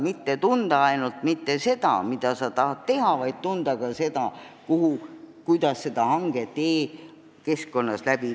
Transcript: Ei tule tunda mitte ainult seda, mida sa tahad teha, vaid tuleb tunda ka seda, kuidas seda hanget e-keskkonnas teha.